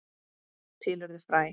Til urðu fræ.